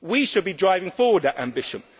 We should be driving forward that ambition.